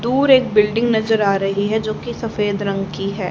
दूर एक बिल्डिंग नजर आ रही है जो की सफेद रंग की है।